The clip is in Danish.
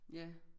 Ja